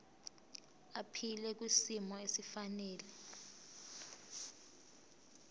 aphile kwisimo esifanele